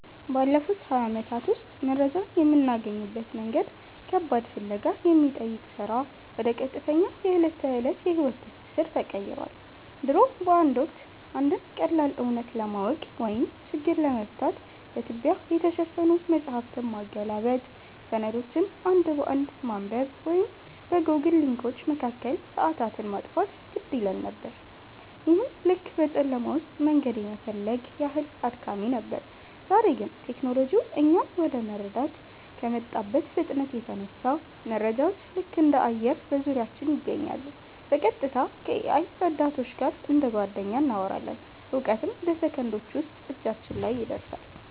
ባለፉት ሃያ ዓመታት ውስጥ መረጃን የምናገኝበት መንገድ ከባድ ፍለጋ ከሚጠይቅ ሥራ ወደ ቀጥተኛ የዕለት ተዕለት የሕይወት ትስስር ተቀይሯል። ድሮ በአንድ ወቅት፣ አንድን ቀላል እውነት ለማወቅ ወይም ችግር ለመፍታት በትቢያ የተሸፈኑ መጻሕፍትን ማገላበጥ፣ ሰነዶችን አንድ በአንድ ማንበብ ወይም በጎግል ሊንኮች መካከል ሰዓታትን ማጥፋት ግድ ይለን ነበር፤ ይህም ልክ በጨለማ ውስጥ መንገድ የመፈለግ ያህል አድካሚ ነበር። ዛሬ ግን ቴክኖሎጂው እኛን ወደ መረዳት ከመጣበት ፍጥነት የተነሳ፣ መረጃዎች ልክ እንደ አየር በዙሪያችን ይገኛሉ—በቀጥታ ከ-AI ረዳቶች ጋር እንደ ጓደኛ እናወራለን፣ እውቀትም በሰከንዶች ውስጥ እጃችን ላይ ይደርሳል።